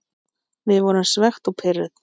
Við vorum svekkt og pirruð.